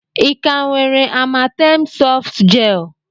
Ị ka nwere Amatem softgel?